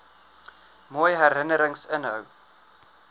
mooi herinnerings inhou